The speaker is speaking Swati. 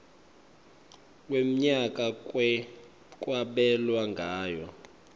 wemnyaka kwabelwa ngayo